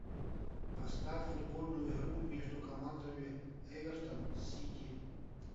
поставь футбольную игру между командами эвертон сити